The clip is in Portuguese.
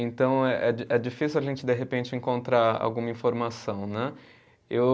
Então é di, é difícil a gente, de repente, encontrar alguma informação, né. Eu